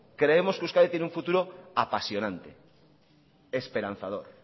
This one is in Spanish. creemos que euskadi tiene un futuro apasionante esperanzador